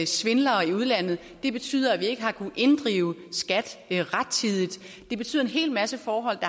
svindlere i udlandet det betyder at vi ikke har kunnet inddrive skat rettidigt det betyder en hel masse forhold